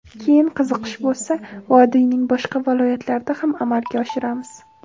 Keyin qiziqish bo‘lsa, vodiyning boshqa viloyatlarida ham amalga oshiramiz.